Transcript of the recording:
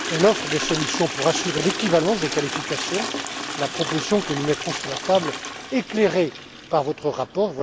Elle offre des solutions pour assurer l'équivalence des qualifications, proposition que nous mettrons sur la table, éclairée par votre rapport.